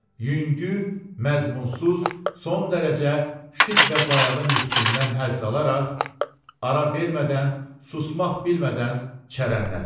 yüngül, məzmunsuz, son dərəcə şit və bayağı nitqindən həzz alaraq, ara vermədən, susmaq bilmədən çərənlədi.